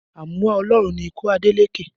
Àmúwá Ọlọ́run ni ikú Adeleke